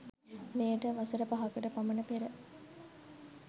මෙයට වසර පහකට පමණ පෙර